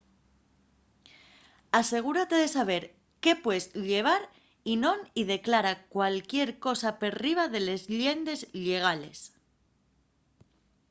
asegúrate de saber qué pues llevar y non y declara cualquier cosa perriba de les llendes llegales